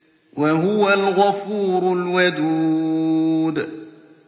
وَهُوَ الْغَفُورُ الْوَدُودُ